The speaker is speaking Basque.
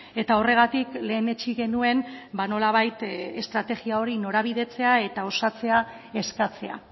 eta horregatik lehenetsi genuen nolabait estrategia hori norabidetzea eta osatzea eskatzea